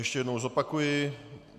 Ještě jednou zopakuji.